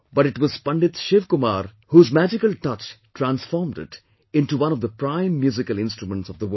But it was Pandit Shiv Kumar Sharma whose magical touch transformed it into one of the prime musical instruments of the world